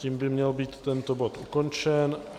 Tím by měl být tento bod ukončen.